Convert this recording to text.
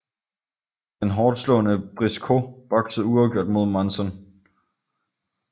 Den hårdtslående Briscoe boksede uafgjort mod Monzon